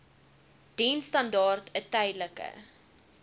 diensstandaard n tydelike